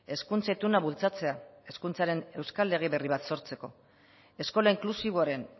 hezkuntza ituna bultzatzea hezkuntzaren euskal lege berri bat sortzeko eskola inklusiboaren